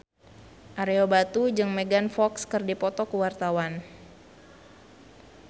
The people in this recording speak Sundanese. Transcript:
Ario Batu jeung Megan Fox keur dipoto ku wartawan